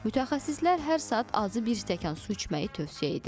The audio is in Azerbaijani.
Mütəxəssislər hər saat azı bir stəkan su içməyi tövsiyə edir.